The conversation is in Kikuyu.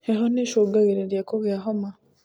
Heho nĩcungagĩrĩria kugĩa homa